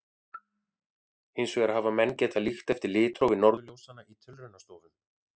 Hins vegar hafa menn getað líkt eftir litrófi norðurljósanna í tilraunastofum.